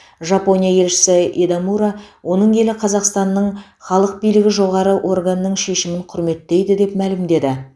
жапония елшісі эдамура оның елі қазақстанның халық билігі жоғары органының шешімін құрметтейді деп мәлімдеді